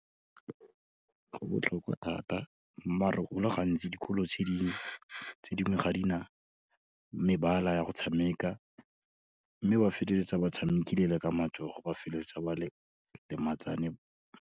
Go botlhokwa thata, maar-e go le gantsi dikolo tse dingwe, ga di na mebala ya go tshameka mme ba feteletsa batshamekile le ka matsogo, ba feleletsa ba lematsane.